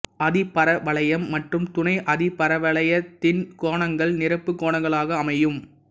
அதிபரவளையம் மற்றும் துணை அதிபரவளையத்தின் கோணங்கள் நிரப்புக் கோணங்களாக அமையும்